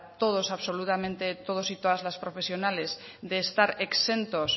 todos absolutamente todos y todas las profesionales de estar exentos